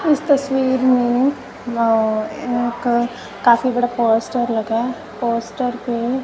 इस तस्वीर में य एअ क काफी बड़ा पोस्टर लगा पोस्टर पे--